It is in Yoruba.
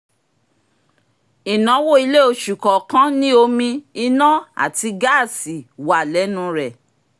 ináwó ilé oṣù kọọkan ní omi ina àti gaasi wà lẹ́nu rẹ̀